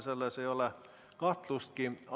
Selles ei ole kahtlustki.